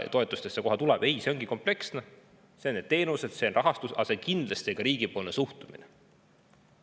Ei, ongi kompleksne: teenused, rahastus, aga kindlasti ka riigipoolne suhtumine.